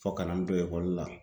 Fɔ ka na n don ekɔli la.